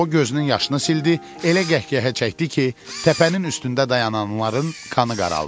O gözünün yaşını sildi, elə qəhqəhə çəkdi ki, təpənin üstündə dayananların qanı qaraldı.